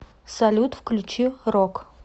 салют включи рок